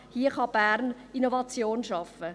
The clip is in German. Hier kann Bern Innovation schaffen.